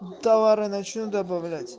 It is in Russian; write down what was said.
товары начну добавлять